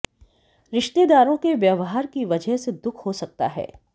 रिश्तेदारों के व्यवहार की वजह से दुख हो सकता है